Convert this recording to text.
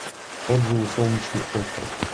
отзывы солнечный остров